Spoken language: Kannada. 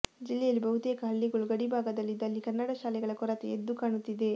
ಜಿಲ್ಲೆಯಲ್ಲಿ ಬಹುತೇಕ ಹಳ್ಳಿಗಳು ಗಡಿ ಭಾಗದಲ್ಲಿದ್ದು ಅಲ್ಲಿ ಕನ್ನಡ ಶಾಲೆಗಳ ಕೊರತೆ ಎದ್ದು ಕಾಣುತ್ತಿದೆ